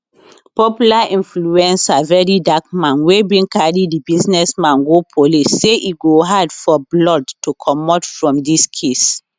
popular influencer verydarkman wey bin carry di businessman go police say e go hard for blord to comot from dis case